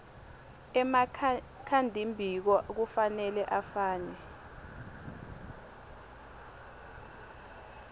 emakhadimbiko kufanele afake